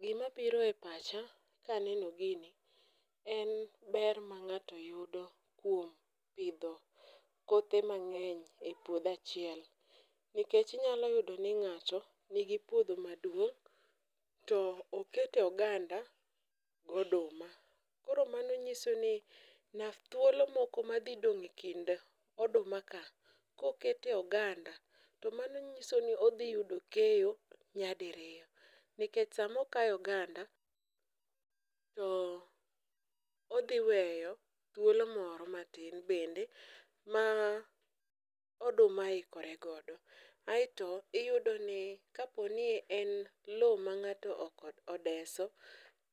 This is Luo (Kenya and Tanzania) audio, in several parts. Gimabiro e pacha kaneno gini en ber ma ng'ato yudo kuom pidho kothe mang'eny e puodho achiel nikech inyalo yudo ni ng'ato nigi puodho maduong' to oketo oganda goduma, koro mano nyiso ni thuolo moro madhidong' e kind odumaka, kokete oganda to mano nyiso ni odhi yudo keyo nyadiriyo nikech sama okayo oganda to odhi weyo thuolo moro matin bende ma oduma ikore godo. Aeto iyudoni kapo ni en lowo ma ng'ato odeso,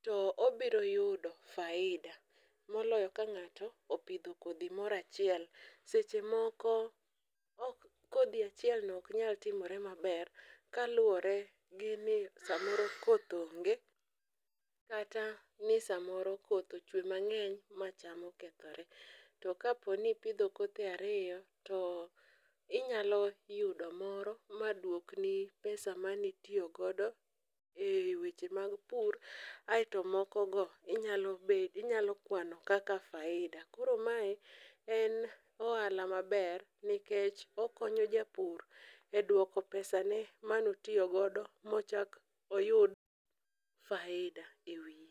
to obiro yudo faida moloyo ka ng'ato pidho kodhi moro achiel, seche moko kodhi achielno ok nyal timore maber kaluwore gi ni samoro koth onge, kata ni samoro koth ochwe mang'eny ma cham okethore. to kapo ni ipidho kothe ariyo, to inyalo yudo moro madwokni pesa manitiyo godo e weche mag pur aeto mokogo inyalo kwano kaka faida ,koro mae en ohala maber nikech okonyo japur e dwoko pesane mane otiyo godo mochak oyud faida e wiye.